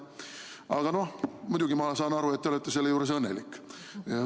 Aga noh, muidugi ma saan aru, et te olete selle juures õnnelik.